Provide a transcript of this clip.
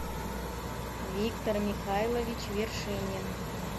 виктор михайлович вершинин